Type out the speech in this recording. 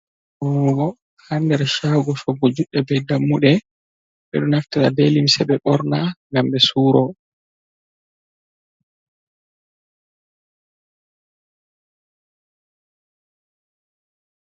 Ɓurnugo ha nder chaago shoggo judde be dammude ɓe do naftira be limse be borna ngam be suro.